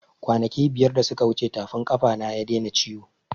Kwanaki biyar da suka wuce tafin ƙafa na ya daina ciwo